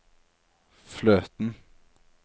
fløten